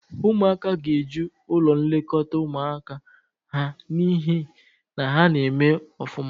Ụmụaka ga-eju ụlọ nlekọta ụmụaka ha n'ihi na ha na-eme ọfụma.